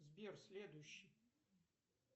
сбер следующий